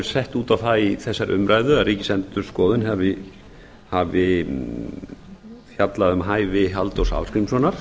sett út á það í þessari umræðu að ríkisendurskoðun hafi fjallað um hæfi halldórs ásgrímssonar